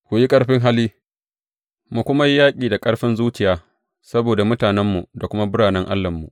Ku yi ƙarfin hali, mu kuma yi yaƙi da ƙarfin zuciya saboda mutanenmu da kuma birane Allahnmu.